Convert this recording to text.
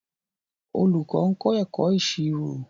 Olùkọ́ ń kọ́ ẹ̀kọ́ ìṣirò